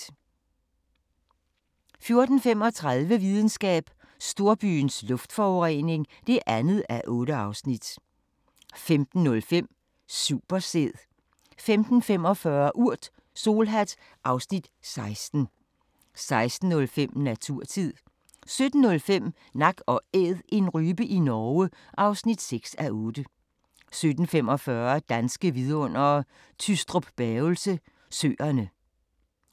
14:35: Videnskab: Storbyens luftforurening (2:8) 15:05: Supersæd 15:45: Urt: Solhat (Afs. 16) 16:05: Naturtid 17:05: Nak & Æd - en rype i Norge (6:8) 17:45: Danske Vidundere: Tystrup-Bavelse Søerne